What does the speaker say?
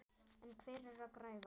En hver er að græða?